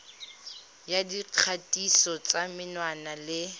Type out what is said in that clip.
ya dikgatiso tsa menwana le